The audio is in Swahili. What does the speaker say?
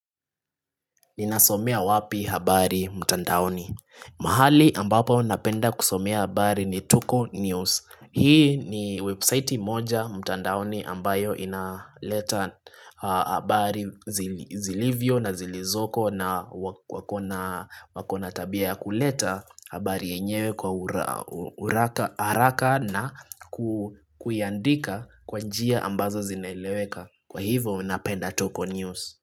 Ninasomea wapi habari mtandaoni mahali ambapo napenda kusomea habari ni tuko News Hii ni website moja mtandaoni ambayo inaleta habari zilivyo na zilizoko na wakona wakona tabia ya kuleta habari yenyewe kwa ura uraka haraka na kuiandika kwa njia ambazo zinaeleweka Kwa hivo unapenda tuko News.